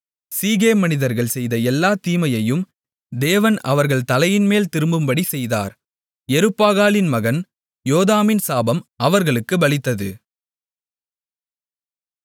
சீகேம் மனிதர்கள் செய்த எல்லா தீமையையும் தேவன் அவர்கள் தலையின்மேல் திரும்பும்படி செய்தார் யெருபாகாலின் மகன் யோதாமின் சாபம் அவர்களுக்குப் பலித்தது